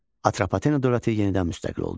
Atropatena dövləti yenidən müstəqil oldu.